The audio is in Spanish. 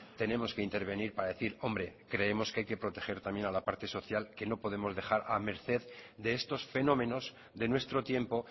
tenemos que intervenir para decir hombre creemos que hay que proteger también a la parte social que no podemos dejar a la merced de estos fenómenos de nuestro tiempo